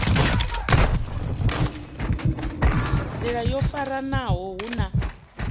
nḓila yo faranaho hu na